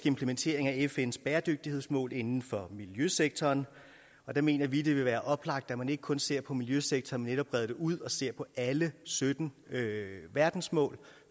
implementering af fns bæredygtighedsmål inden for miljøsektoren og der mener vi at det vil være oplagt at man ikke kun ser på miljøsektoren men netop breder det ud og ser på alle sytten verdensmål